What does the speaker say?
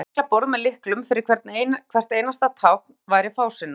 að hanna lyklaborð með lyklum fyrir hvert einasta tákn væri fásinna